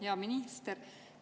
Hea minister!